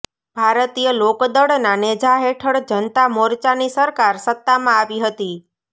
ભારતીય લોકદળના નેજા હેઠળ જનતા મોરચાની સરકાર સત્તામાં આવી હતી